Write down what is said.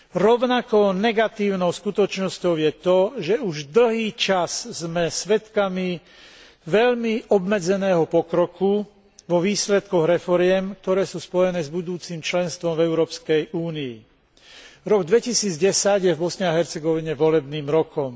Rovnako negatívnou skutočnosťou je to, že už dlhý čas sme svedkami veľmi obmedzeného pokroku vo výsledkoch reforiem, ktoré sú spojené s budúcim členstvom v Európskej únii. Rok 2010 je v Bosne a Hercegovine volebným rokom.